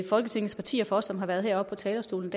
folketingets partier for som har været heroppe på talerstolen